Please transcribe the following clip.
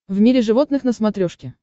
в мире животных на смотрешке